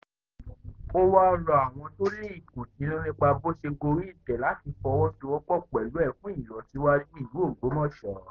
ó wáá rọ àwọn tó ní ìkùnsínú nípa bóo ṣe gorí ìtẹ́ láti fọwọ́sowọ́pọ̀ pẹ̀lú ẹ fún ìlọsíwájú ìlú ògbómọṣọ